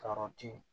Ka yɔrɔ di